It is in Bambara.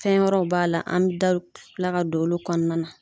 Fɛn wɛrɛw b'a la an da bɛ kila ka don olu kɔnɔna na.